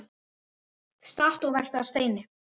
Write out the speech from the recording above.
Stattu og vertu að steini